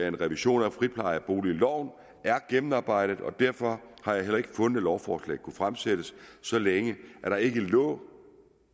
en revision af friplejeboligloven er gennemarbejdet og derfor har jeg heller ikke fundet lovforslag kunne fremsættes så længe der ikke lå